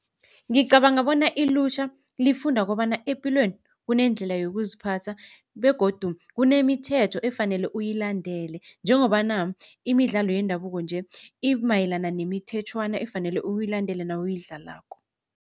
Ngicabanga bona ilutjha lifunda kobana epilweni kuneendlela yokuziphatha begodu kunemithetho efanele uyilandele njengobana imidlalo yendabuko nje imayelana nemithetjhwana efanele uyilandele nawuyidlalako.